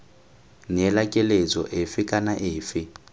neela keletso efe kana efe